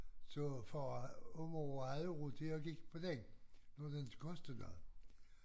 Så far og mor havde jo råd til jeg gik på den nu den inte kostede noget